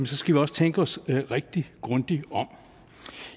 så skal vi også tænke os rigtig grundigt om